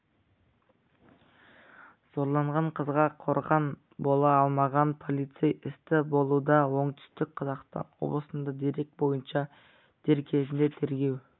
зорланған қызға қорған бола алмаған полицей істі болуда оңтүстік қазақстан облысында дерек бойынша дер кезінде тергеу